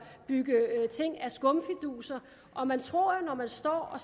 bygge ting af skumfiduser man tror når man står og